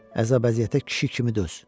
Əzab əziyyətə kişi kimi döz.